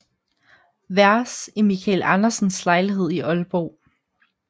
Vers i Michael Andersens lejlighed i Aalborg